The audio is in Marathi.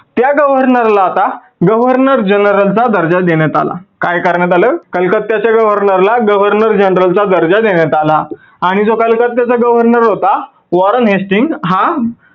त्या governor ला आता governor general यांचा दर्जा देण्यात आला. काय करण्यात आल governor general यांचा दर्जा देण्यात आला. आणि जो कलकत्त्याचा governor होता Warren Hastings हा